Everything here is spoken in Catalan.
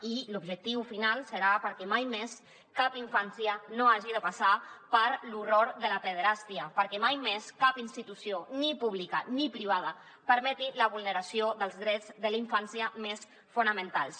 i l’objectiu final serà perquè mai més cap infància no hagi de passar per l’horror de la pederàstia perquè mai més cap institució ni pública ni privada permeti la vulneració dels drets de la infància més fonamentals